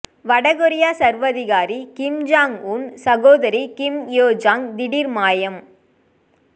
வடகொரியா சர்வதிகாரி Kim Jong Un சகோதரி கிம் யோ ஜாங் திடீர் மாயம்